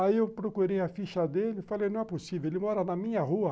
Aí eu procurei a ficha dele, falei, não é possível, ele mora na minha rua.